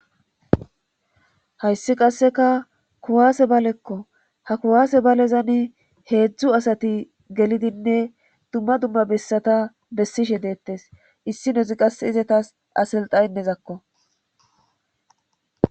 Hayssi qasseka kuwaase balekko ha kuwaase balezani heedzdzu asati gelidinne dumma dumma bessata bessishe deettes issi nozi qas izetas asilxaynezakko.